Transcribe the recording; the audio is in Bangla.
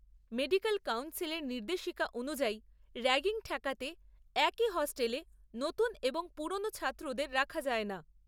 মেডিকেল কাউন্সিলের নির্দেশিকা অনুযায়ী রাগ্গিং ঠেকাতে একই হোস্টেলে নতুন এবং পুরনো ছাত্রদের রাখা যায় না।